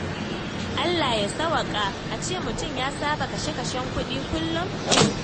Allah ya sawwaƙa, a ce mutum ya saba da kashe-kashen kuɗi kullum?